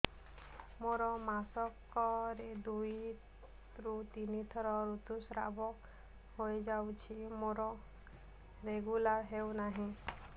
ମୋର ମାସ କ ରେ ଦୁଇ ରୁ ତିନି ଥର ଋତୁଶ୍ରାବ ହେଇଯାଉଛି ମୋର ରେଗୁଲାର ହେଉନାହିଁ